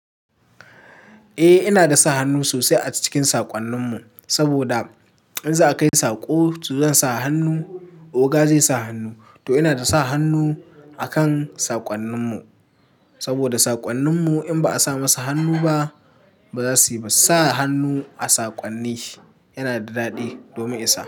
Eh ina da sa hannu sosai a cikin saƙonnin mu, saboda in za a kai saƙo to zan sa hannu, oga zai sa hannu to ina da sa hannu akan saƙonnin mu. Saboda saƙonnin mu in ba a sa masa hannu ba, ba za su yi ba. Sa hannu a saƙonni yana da daɗi domin isa.